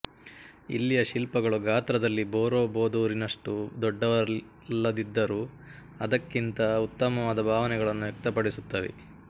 ಇಲ್ಲಿಯ ಶಿಲ್ಪಗಳು ಗಾತ್ರದಲ್ಲಿ ಬೊರೊಬೊದೂರಿನಷ್ಟು ದೊಡ್ಡವಲ್ಲದಿದ್ದರೂ ಅದಕ್ಕಿಂತ ಉತ್ತಮವಾದ ಭಾವನೆಗಳನ್ನು ವ್ಯಕ್ತಪಡಿಸುತ್ತವೆ